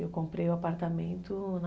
Eu comprei o apartamento na...